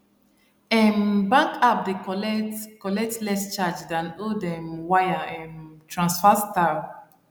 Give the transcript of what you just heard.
um bank app dey collect collect less charge than old um wire um transfer style